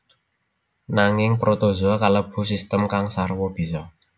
Nanging protozoa kalebu sistem kang sarwa bisa